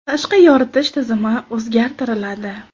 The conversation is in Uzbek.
Tashqi yoritish tizimi o‘zgartiriladi.